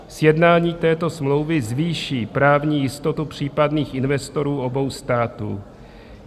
Sjednání této smlouvy zvýší právní jistotu případných investorů obou států.